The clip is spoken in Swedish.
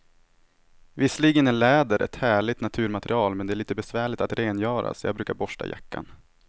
Visserligen är läder ett härligt naturmaterial, men det är lite besvärligt att rengöra, så jag brukar borsta jackan.